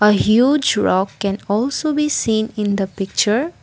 a huge rock can also be seen in the picture.